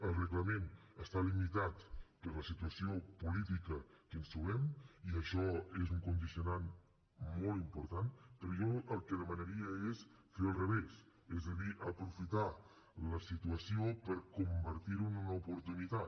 el reglament està limitat per la situació política que ens trobem i això és un condicionant molt important però jo el que demanaria és fer ho al revés és a dir aprofitar la situació per convertir ho en una oportunitat